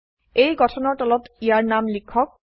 এই গঠনৰ তলত ইয়াৰ নাম লিখক